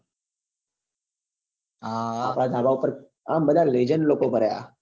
આપડા પર આમ વેજન લોકો ભર્યા